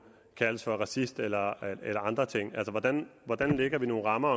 kaldes for racist eller eller andre ting altså hvordan hvordan lægger vi nogle rammer